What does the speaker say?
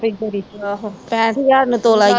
ਪੈਠ ਹਜ਼ਾਰ ਨੂੰ ਤੋਲਾ